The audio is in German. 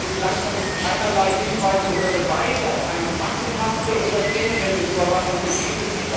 Denn bislang hat es keinerlei Hinweise auf oder Beweise für eine massenhafte oder generelle Überwachung gegeben.